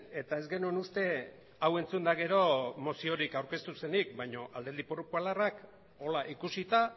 eta ez genuen uste hau entzunda gero moziorik aurkeztu zenik baino alderdi popularrak horrela ikusita